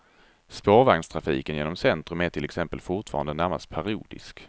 Spårvagnstrafiken genom centrum är till exempel fortfarande närmast parodisk.